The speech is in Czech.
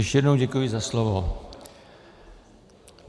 Ještě jednou děkuji za slovo.